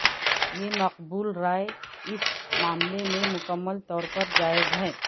یہ مقبول رائے اس معاملے میں مکمل طور پر جائز ہے